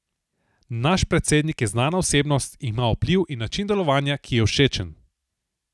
Naš predsednik je znana osebnost, ima vpliv in način delovanja, ki je všečen.